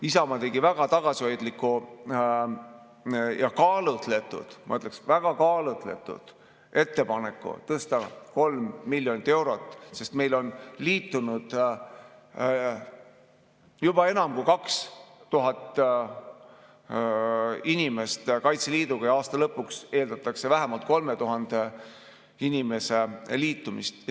Isamaa tegi väga tagasihoidliku ja kaalutletud, ma ütleksin, väga kaalutletud ettepaneku 3 miljoni euro võrra suurendada, sest Kaitseliiduga on liitunud juba enam kui 2000 inimest ja aasta lõpuks eeldatakse vähemalt 3000 inimese liitumist.